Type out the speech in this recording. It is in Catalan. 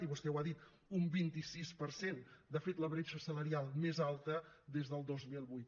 i vostè ho ha dit un vint sis per cent de fet la bretxa salarial més alta des del dos mil vuit